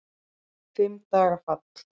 Fimm daga fall